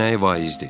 Onun nəyi vaizdir?